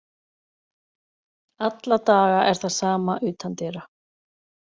Alla daga er það sama utandyra.